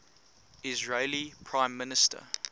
israeli prime minister